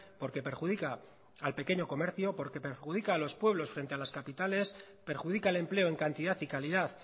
porque perjudica al pequeño comercio porque perjudica a los pueblos frente a las capitales perjudica el empleo en cantidad y calidad